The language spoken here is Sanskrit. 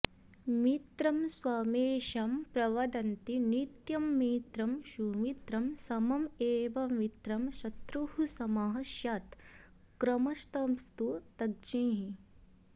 मित्रं स्वमेषां प्रवदन्ति नित्यं मित्रं सुमित्रं सममेव मित्रम् शत्रुः समः स्यात् क्रमशस्तु तज्ज्ञैः